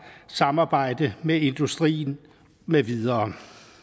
samarbejde med industrien med videre